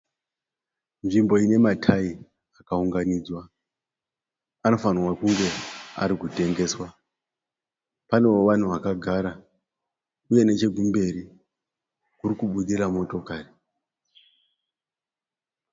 Nzvimbo inematayi akaunganidzwa. Anofanirwa kunge arikutengeswa. Panewo vanhu vakagara uye nechekumberi kurikubudira motokari.